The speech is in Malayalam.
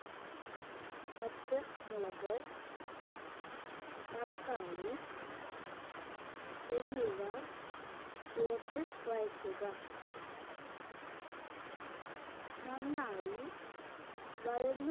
പച്ച മുളക് തക്കാളി എന്നിവ ചേർത്ത് വഴറ്റുക നന്നായി വഴഞു